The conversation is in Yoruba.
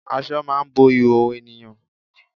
Aṣọ máà ń bo ìhòòhò ènìyàn.